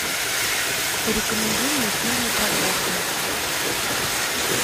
порекомендуй мне фильмы про космос